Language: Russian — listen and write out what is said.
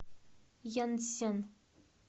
янцзян